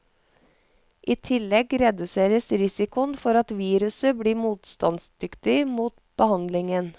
I tillegg reduseres risikoen for at viruset blir motstandsdyktig mot behandlingen.